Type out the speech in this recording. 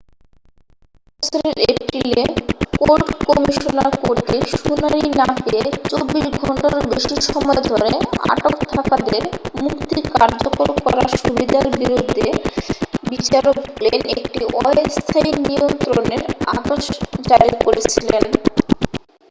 এই বছরের এপ্রিলে কোর্ট কমিশনার কর্তৃক শুনানি না পেয়ে 24 ঘণ্টারও বেশি সময় ধরে আটক থাকাদের মুক্তি কার্যকর করার সুবিধার বিরুদ্ধে বিচারক গ্লেন একটি অস্থায়ী নিয়ন্ত্রণের আদেশ জারি করেছিলেন